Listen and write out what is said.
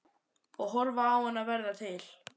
Og horfa á hana verða til.